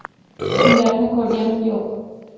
Pullarni ko‘rganim yo‘q.